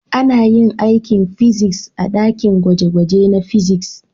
Ana yin aikin fiziks a dakin gwaje-gwaje na fiziks.